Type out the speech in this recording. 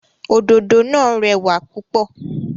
Òdòdó náà rẹwà púpọ̀.